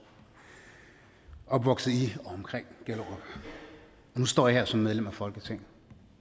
og opvokset i og omkring gellerup nu står jeg her som medlem af folketinget